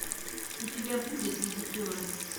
у тебя будет визитеры